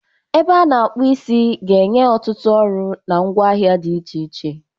Ebe a na-akpu isi ga-enye ọtụtụ ọrụ na ngwaahịa dị iche iche.